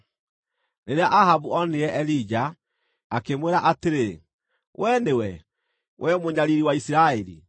Rĩrĩa Ahabu onire Elija, akĩmwĩra atĩrĩ, “Wee nĩwe, wee mũnyariiri wa Isiraeli?”